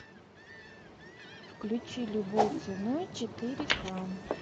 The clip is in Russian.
включи любой ценой четыре ка